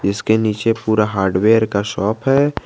इसके नीचे पूरा हार्डवेयर का शॉप है।